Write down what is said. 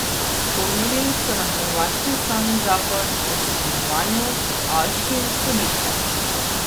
Spomnili so na hrvaški ustavni zakon o sodelovanju s haaškim sodiščem.